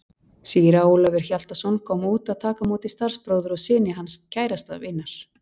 Síra Ólafur Hjaltason kom út að taka á móti starfsbróður og syni síns kærasta vinar.